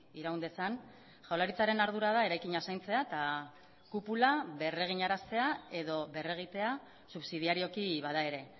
iraun dezan jaurlaritzaren ardura da eraikina zaintzea eta kupula berreginaraztea edo berregitea subsidiarioki bada ere